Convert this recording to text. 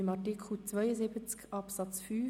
Wir kommen zu Artikel 72 Absatz 5.